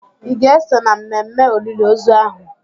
Ị ga-eso na mmemme olili ozu ahụ.